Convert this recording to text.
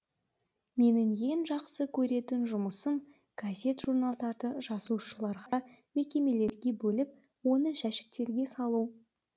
менің ең жақсы көретін жұмысым газет журналдарды жазылушыларға мекемелерге бөліп оны жәшіктерге салу